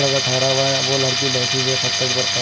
हुआ है वो लड़की बैठी हुई है पत्थर पर पैर--